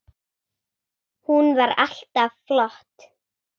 Hún var alltaf flott.